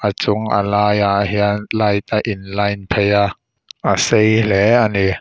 a chung a laiah hian light a line phei a a sei hlê a ni.